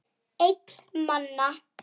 Einn manna!